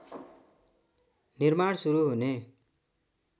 निर्माण सुरु हुने